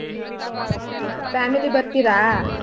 ಹಾ family ಬರ್ತೀರಾ?